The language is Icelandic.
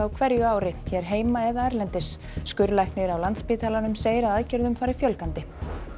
á hverju ári hér heima eða erlendis skurðlæknir á Landspítalanum segir að aðgerðum fari fjölgandi